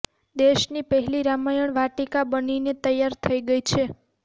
દેશની પહેલી રામાયણ વાટિકા બનીને તૈયાર થઈ ગઈ છે